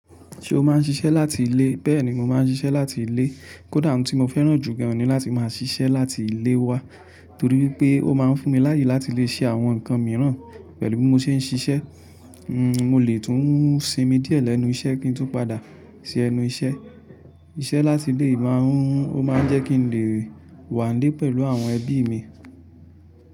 Ṣé o máa ń ṣiṣẹ́ láti ilé? Bẹ́ẹ̀ ni mo máa ń ṣiṣẹ́ láti ilé. Kódà ohun tí mo fẹ́ràn jù gàn ni láti máa ṣiṣẹ́ láti ilé wa, torí pé ó máa ń fún mi láyè láti lè ṣe àwọn nǹkan mìíràn pẹ̀lú bí mo ṣe ń ṣiṣẹ́. Hmm, mo lè tún sinmi díẹ̀ lẹ́nu iṣẹ́ kí n tún padà sí ẹnu iṣẹ́. Iṣẹ́ láti ilé máa ń Ó máa ń jẹ́ kí n lè wà nílé pẹ̀lú àwọn ẹbí mi.